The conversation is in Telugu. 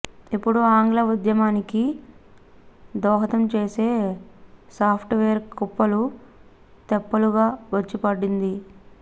ఇప్పుడు ఆంగ్ల ఉద్యమానికి దోహదం చేసే సాఫ్ట్వేర్ కుప్పలు తెప్పలుగా వచ్చిపడింది